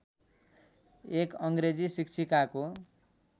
एक अङ्ग्रेजी शिक्षिकाको